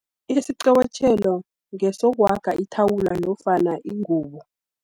Isiqobotjhelo, ngesohaga ithawula nofani ingubo.